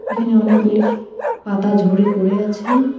এখানে অনেকগুলি পাতা ঝরে পড়ে আছে।